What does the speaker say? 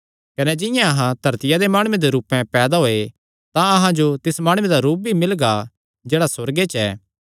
कने जिंआं अहां धरतिया दे माणुये दे रूपे पैदा होये तां अहां जो तिस माणुये दा रूप भी मिलगा जेह्ड़ा सुअर्गे च ऐ